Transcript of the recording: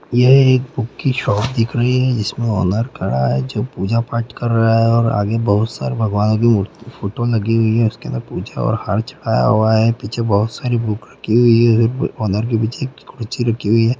यह एक बुक की शॉप दिख रही है जिसमें ऑनर खड़ा है जो पूजा-पाठ कर रहा है और आगे बहुत सारे भगवान की मूर्ति फ़ोटो लगी हुई है उसके अंदर पूजा और हार चढ़ाया हुआ है पीछे बहुत सारी बुक रखी हुई है ऑनर के पीछे एक कुर्सी रखी हुई है।